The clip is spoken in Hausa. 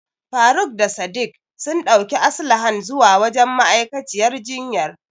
Faruk da Sadik sun ɗauki Aslahan zuwa wajen ma'aikaciyar jinyar.